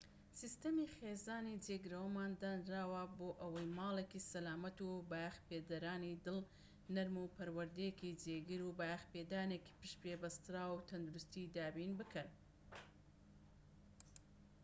سیستەمی خێزانی جێگرەوەمان دانراوە بۆ ئەوەی ماڵێکی سەلامەت و بایەخپێدەرانی دڵ نەرم و پەروەردەیەکی جێگیر و بایەخپێدانێکی پشت پێبەستراوی تەندروستی دابین بکەن